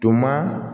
To maa